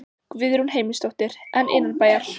Guðrún Heimisdóttir: En innanbæjar?